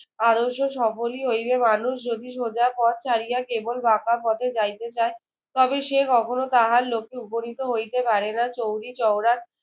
আদর্শ সফলই হইবে। মানুষ যদি সোজা পথ ছাড়িয়া কেবল বাঁকা পথে যাইতে চায় তবে সে কখনো তাহার লক্ষ্যে উপনীত হইতে পারে না। চৌরিচৌরার